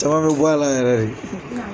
Caman bɛ bɔ a la yɛrɛ de.